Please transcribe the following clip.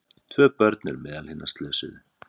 Tvö börn eru meðal hinna slösuðu